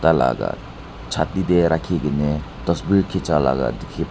tar laga Chati te rakhi kine tasver khicha laga dekhi pabo--